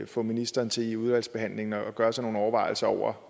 få ministeren til i udvalgsbehandlingen at gøre sig nogle overvejelser over